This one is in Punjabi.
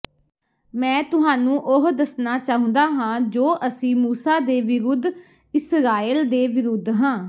ਮੈਂ ਤੁਹਾਨੂੰ ਉਹ ਦੱਸਣਾ ਚਾਹੁੰਦਾ ਹਾਂ ਜੋ ਅਸੀਂ ਮੂਸਾ ਦੇ ਵਿਰੁੱਧ ਇਸਰਾਏਲ ਦੇ ਵਿਰੁੱਧ ਹਾਂ